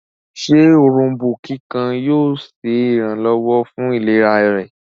ṣe Òrombó kíkan yóò ṣe iranlọwọ fún ìlera rẹ̀?